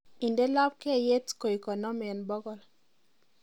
inde lobkeiyet koik konom en bogol